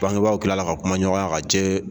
Bangebaw tilala ka kumaɲɔgɔnya ka